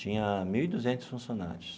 Tinha mil e duzentos funcionários.